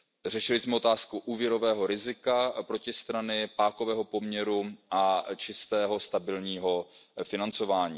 Řešili jsme otázku úvěrového rizika protistrany, pákového poměru a čistého stabilního financování.